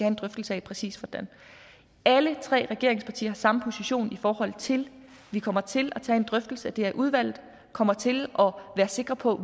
en drøftelse af præcis hvordan alle tre regeringspartier har samme position i forhold til at vi kommer til at tage en drøftelse af det her i udvalget og kommer til at være sikre på